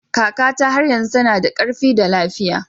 Kakata har yanzu tana da ƙarfi da lafiya